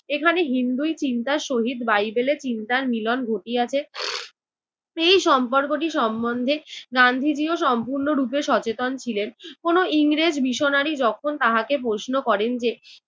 এখানে হিন্দুই চিন্তার সহিত বাইবেলে চিন্তার মিলন ঘটিয়াছে সেই সম্পর্কটি সম্বন্ধে গান্ধীজিও সম্পূর্ণরুপে সচেতন ছিলেন। কোনো ইংরেজ missionary যখন তাহাকে প্রশ্ন করেন যে,